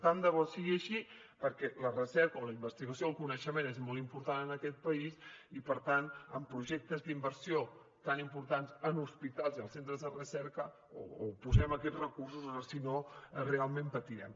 tant de bo sigui així perquè la recerca o la investigació el coneixement és molt important en aquest país i per tant amb projectes d’inversió tan importants en hospitals i els centres de recerca o posem aquests recursos o si no realment patirem